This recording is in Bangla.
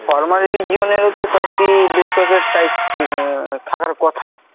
formal region এরও বেশ কয়েকটি বেশ কয়েকটা type উহ থাকার কথা।